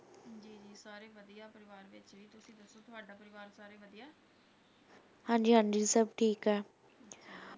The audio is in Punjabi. ਹਾਂਜੀ ਹਾਂਜੀ, ਸਭ ਠੀਕ ਏ l